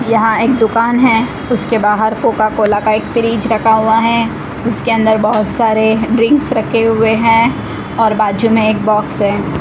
यहां एक दुकान है उसके बाहर कोकाकोला का एक फ्रिज रखा हुआ है उसके अंदर बहोत सारे ड्रिंक्स रखे हुए है और बाजू में एक बॉक्स है।